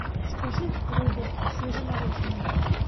закажи рыбу свежемороженую